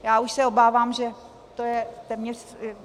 Já už se obávám, že to je téměř...